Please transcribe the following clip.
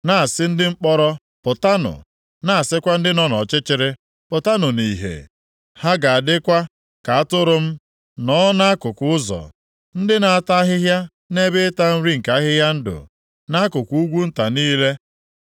na-asị ndị mkpọrọ, + 49:9 Maọbụ, ndị a dọtara nʼagha ‘Pụtanụ,’ na-asịkwa ndị nọ nʼọchịchịrị, ‘Pụtanụ nʼihe.’ “Ha ga-adịkwa ka atụrụ m, nọọ nʼakụkụ ụzọ, ndị na-ata ahịhịa nʼebe ịta nri nke ahịhịa ndụ, nʼakụkụ ugwu nta niile.